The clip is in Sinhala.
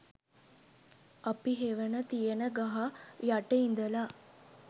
අපි හෙවන තියෙන ගහ යට ඉඳලා